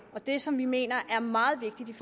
og det som vi mener er meget vigtigt